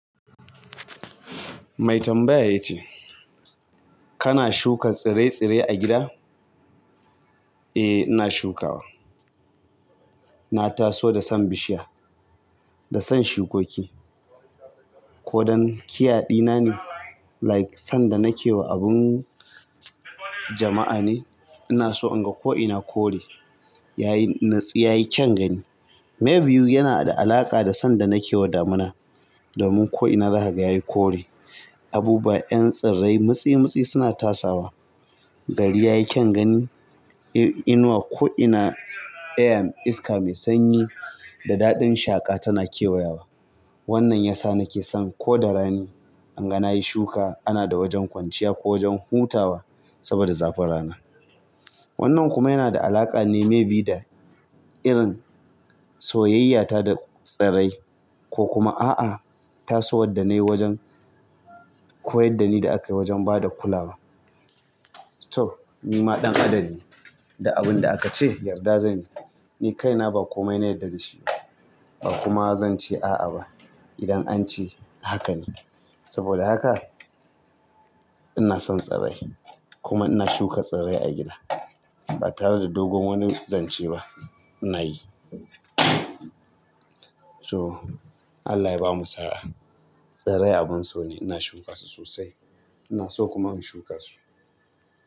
Mai tambaya ya ce, kana shuka tsire-tsire a gida? Eh, ina shukawa. Na taso da son bishiya, da son shukoki. Ko don care ɗina ne, like sanda nake wa abun jama'a ne, ina so in ga ko'ina kore. Yayi nutsu yayi kyan gani maybe yana da alaƙa da sanda nake wa damina. Domin ko'ina za kaga yayi kore. Abubuwa 'yan tsirrai mitsi-mitsi suna tasawa. Gari yayi kyan gani. Inuwa ko'ina, iska mai sanyi da daɗin shaƙa tana kewayawa. Wannan yasa nake son ko da rani, in ga nayi shuka ana da wajen kwanciya ko wajen hutawa saboda zafin rana. Wannan kuma yana da alaƙa ne maybe da irin soyayyata da tsirrai ko kuma a'a, tasowar da nayi wajen koyardani da aka yi wajen ba da kulawa. To! Ni ma ɗan adam ne, duk abin da aka ce yarda zanyi. Ni kaina ba komai na yarda da shi. Ba kuma zance a'a ba. Idan an ce haka ne. Saboda haka ina son tsirrai. Kuma ina shuka tsirrai a gida. Ba tare da dogon wani zance ba. Munayi so Allah ya bamu sa'a. Tsirrai abun so ne. Ina shuka su sosai. Ina so kuma in shuka su.